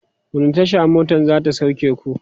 wani Tasha motan zata sauke ku?